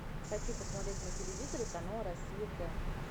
хочу посмотреть на телевизоре канал россия к